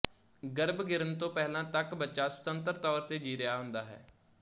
ਗਰਭ ਗਿਰਨ ਤੋਂ ਪਹਿਲਾਂ ਤੱਕ ਬੱਚਾ ਸੁਤੰਤਰ ਤੌਰ ਤੇ ਜੀ ਰਿਹਾ ਹੁੰਦਾ ਹੈ